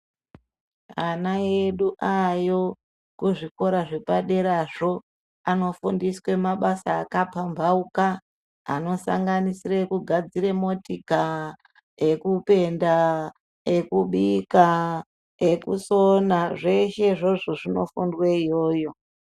Ana edu aayo kuzvikora zvepaderazvo anofundiswe mabasa akapambauka anosanganisire kugadzire motika ,ekupenda, ekubika, ekusona zveshe izvozvo zvinofundwe iyoyo.